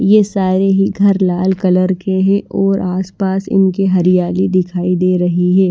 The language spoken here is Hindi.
ये सारे ही घर लाल कलर के हैं और आसपास इनके हरियाली दिखाई दे रही है।